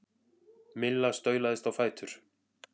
Milla staulaðist á fætur.